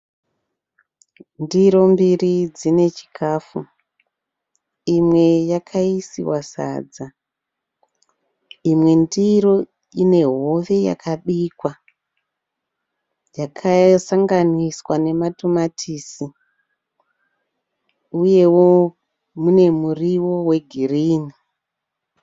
Ndiro mbiri dzinechikafu, imwe yakayiswa sadza imwe ndiro inehove yakabikwa yakasanganiswa nematomatisi uyewo munemuriwo wegirini.